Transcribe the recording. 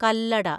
Kallada